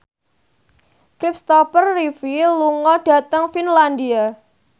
Christopher Reeve lunga dhateng Finlandia